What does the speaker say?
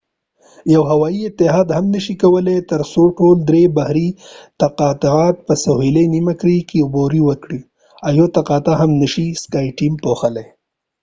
یو هوایې اتحاد هم نشې کولای ترڅو ټول درې بحري تقاطعات په سهیلي نیمه کره کې عبور کړي او skyteam یوه تقاطع هم نشې پوښلی.